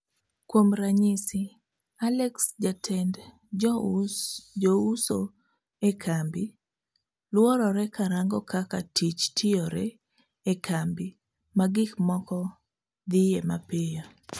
Kuom ranyisi, Alex jatend jouso e kambi, luorore karango kaka tich tiyore e kambi ma gik moko dhiye mapiyo.